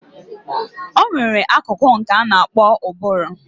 Onwere akụkụ nke ana akpo ụbụrụ.